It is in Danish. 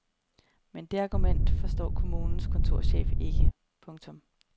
Men det argument forstår kommunens kontorchef ikke. punktum